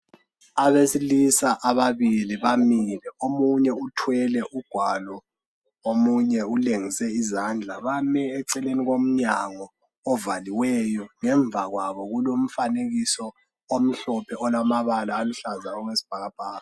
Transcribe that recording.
Abesilisa ababili bamile. Omunye uthwele ugwalo. Omunye ulengise izandla. Bame eceleni komnyango ovaliweyo. Ngemva kwabo kulomfanekiso omhlophe, olamabala aluhlaza okwesibhakabhaka.